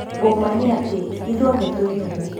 "Ũ ma nĩ atĩ, ithuothe twĩ nũgũ."